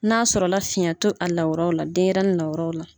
N'a sɔrɔ la fiyɛn to a lawuraw la denɲɛrɛnin lawuraw la.